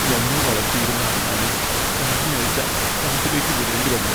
ഞങ്ങൾ വളർത്തിയിരുന്ന അണ്ണാനെ കഴിഞ്ഞയാഴ്ച കാട്ടിലേക്ക് വിടേണ്ടി വന്നു.